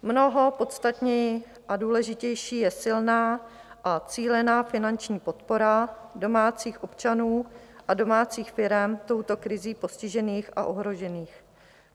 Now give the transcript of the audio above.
Mnoho podstatnější a důležitější je silná a cílená finanční podpora domácích občanů a domácích firem touto krizí postižených a ohrožených.